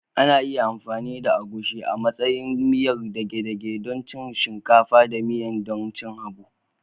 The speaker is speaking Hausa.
Ana iya amfani da agushi amantsayi miyar dage dage don cin shinkafa da miya don cin habu